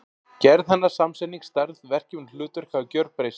Gerð hennar, samsetning, stærð, verkefni og hlutverk hafa gjörbreyst.